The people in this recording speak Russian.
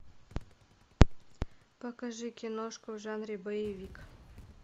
покажи киношку в жанре боевик